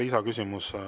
Lisaküsimus.